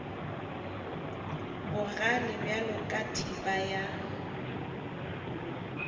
bogale bjalo ka thipa ya